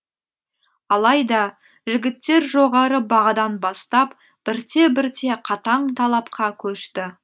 алайда жігіттер жоғары бағадан бастап бірте бірте қатаң талапқа көшті